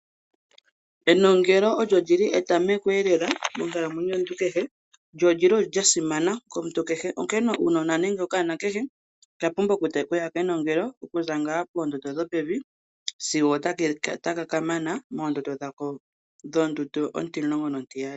Enongelo olyo lyili etamoko eelela monkalamwenyo yomuntu kehe nolyili lyasimana komuntu kehe onkene okanona kehe okapumbwa okuya kenongelo okuza ngaa poondondo dhopevi sigo otaka mana moondondo dhako dhondundu ontimulongo nontiyali.